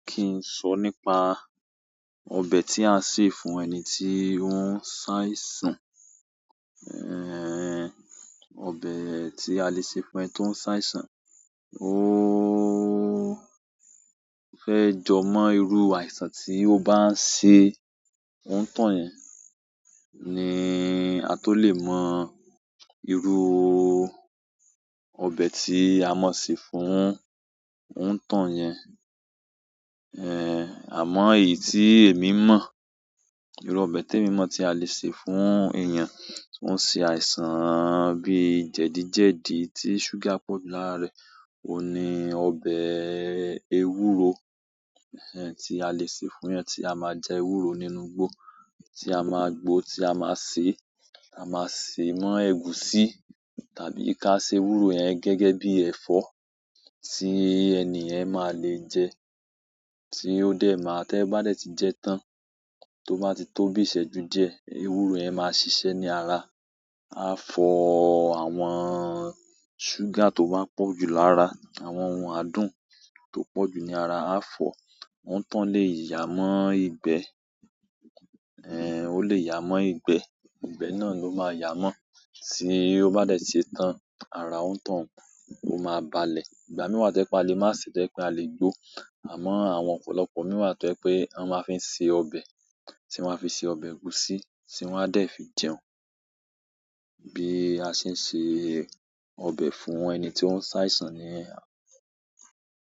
Kì n sọ nípa ọbẹ̀ tí a n se fún ẹni tí o ń ṣàìsàn. Ẹ̀hẹ̀n, ọbẹ̀ tí a lè ṣe fún ẹni to ń ṣàìsàn. Óóó fẹ́ jọ mọ́ irú àìsàn tí ó bá ń ṣe, òn'toun yẹn ni a tó lè mọ irú ọbẹ̀ tí a mọ̀ se fún òn'tọ́un yẹn. Ẹ̀hẹ̀n, àmọ́ èyí tí èmi mọ̀, irú ọbẹ̀ t'èmi mọ̀ tí a lè ṣe fún èèyàn tó ń ṣe àìsàn bí jẹ̀díjẹdìí tí ṣugar pọ̀ jù lára rẹ̀ òun ni ọbẹ̀ ewúro, ẹ̀hẹ̀n, tí a lè ṣe fún ẹni tí a máa jẹla ewúro nínú igbó, tí a máa gbó, tí a máa sè, a máa sè mọ́ ẹ̀gúsí tàbí ká ṣe ewúro yẹn gẹ́gẹ́ bí ẹ̀fọ́ tí ẹni yẹn máa lè jẹ, tí ó dẹ̀ máa, tí ẹ bá dé tí jẹ tán, tó bá ti tó bíi ìṣẹ́jú díẹ̀, ewúro yẹn máa ṣiṣẹ́ ní ara. A fọ àwọn ṣúgà tó bá pọ̀ jù lára àwọn ohun adùn tó pọ̀ jù ní ara, a fọ, òni tọ́un lè yà mọ́ ìgbẹ́, ẹ̀hẹ̀n, ó lè yà mọ́ ìgbẹ́, ìgbẹ́ náà ló máa yà mọ́ tí ó bá dé tí ṣe tán, ara òn'tòun ó máa balẹ̀. Ìgbà mìí wa to je pé a lè má se to je pé a lè gbó, àmọ́ àwọn ọ̀pọ̀lọpọ̀ mìí wa to je pé a máa n fi ṣe ọbẹ̀, tí wọ́n á fi se ọbẹ̀ ẹ̀gúsí tí wọ́n á dé fi jẹun. Bí a ṣe ń ṣe ọbẹ̀ fún ẹni tí ó ń ṣàìsàn niyen.